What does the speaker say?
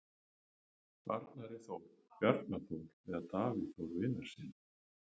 Arnari Þór, Bjarna Þór eða Davíð Þór Viðarssyni?